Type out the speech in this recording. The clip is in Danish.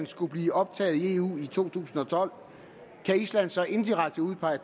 skulle blive optaget i eu i to tusind og tolv kan island så indirekte udpege